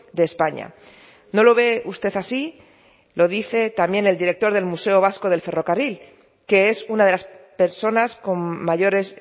de españa no lo ve usted así lo dice también el director del museo vasco del ferrocarril que es una de las personas con mayores